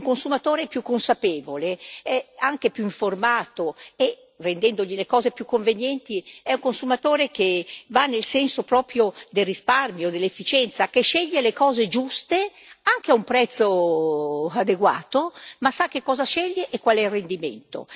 Un consumatore più consapevole è anche più informato e, rendendogli le cose più convenienti, è un consumatore che va nel senso proprio del risparmio e dell'efficienza, che sceglie le cose giuste anche a un prezzo adeguato, ma sa che cosa sceglie e qual è il rendimento.